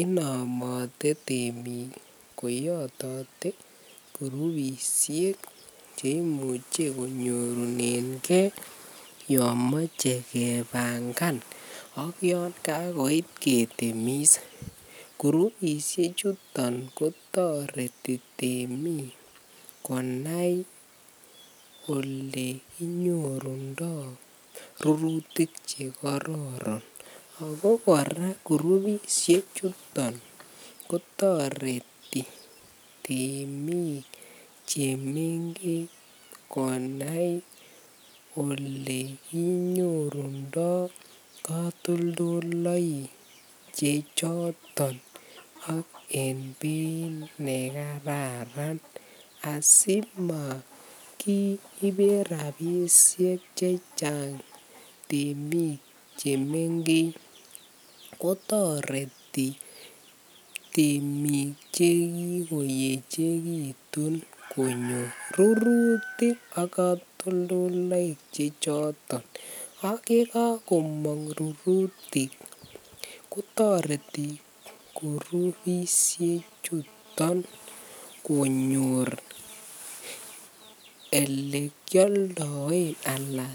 Inomote temik koyatate kurubishek cheimuche konyorunen gei yamache kebangan ayangagoit ketemis kurubishek chuton kotareti temik konai ole kinyorundoi rurutik chekororon akokoraa kurubishek chuton kotareti temik chemengech konai olekinuorundoi katolondaik chechoton ak en Beit nekararan asimakiiben rabishek chechang temik chemengech kotareti temik chekikoyechekitun konyor rurutik ak katolondaik chechoton ayikakomang rurutik kotareti kurubishek chuton konyor olekyaldaen anan